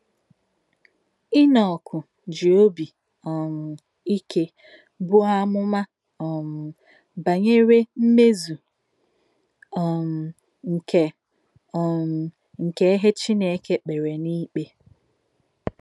Ìnọ̀k jì òbí um íké bùò àmùmà um bànyèrè mmèzù um nke um nke ìhè Chínèkè kpèrè n’ìkpè.